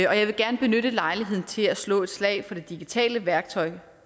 jeg vil gerne benytte lejligheden til at slå et slag for det digitale værktøj